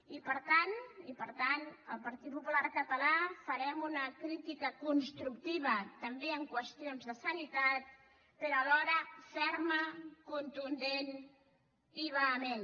i per tant i per tant el partit popular català farem una crítica constructiva també en qüestions de sanitat però alhora ferma contundent i vehement